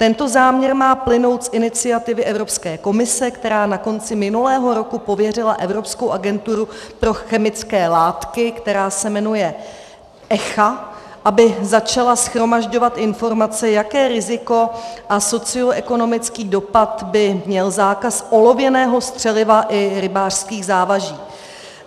Tento záměr má plynout z iniciativy Evropské komise, která na konci minulého roku pověřila Evropskou agenturu pro chemické látky, která se jmenuje ECHA, aby začala shromažďovat informace, jaké riziko a socioekonomický dopad by měl zákaz olověného střeliva i rybářských závaží.